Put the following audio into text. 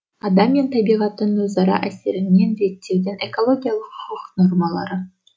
адам мен табиғаттың өзара әсерінен реттеудің экологиялық құқық нормалары